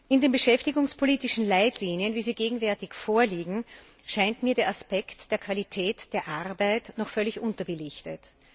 In den beschäftigungspolitischen Leitlinien, wie sie gegenwärtig vorliegen, scheint mir der Aspekt der Qualität der Arbeit noch völlig unterbelichtet.